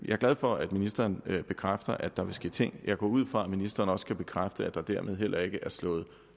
jeg glad for at ministeren bekræfter at der vil ske ting jeg går ud fra at ministeren også kan bekræfte at der dermed heller ikke er slået